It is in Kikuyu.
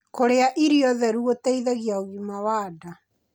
Kurĩa irio theru gũteithagia ũgima wa ndaa